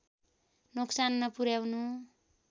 नोक्सान नपुर्‍याउनु